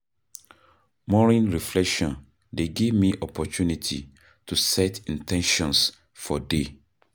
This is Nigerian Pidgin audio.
Morning reflection dey give me opportunity to set in ten tions for day.